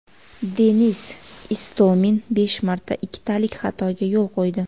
Denis Istomin besh marta ikkitalik xatoga yo‘l qo‘ydi.